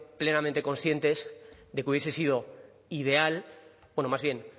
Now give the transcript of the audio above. plenamente conscientes de que hubiese sido ideal bueno más bien